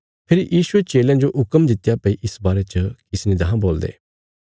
फेरी यीशुये चेलयां जो हुक्म दित्त्या भई इस बारे च किसी ने देखां बोलदे